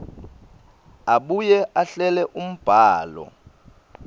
abuye ahlele umbhalo